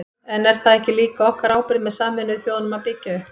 En er það ekki líka okkar ábyrgð með Sameinuðu þjóðunum að byggja upp?